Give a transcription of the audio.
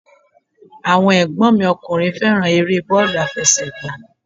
Àwọn ẹ̀gbọ́n mi ọkùnrin fẹ́ràn eré bọ́ọ̀lù àfẹsẹ̀gbá